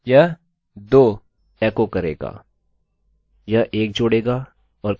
और फिर यह कहेगा क्या 3 10 से बड़ा या बराबर है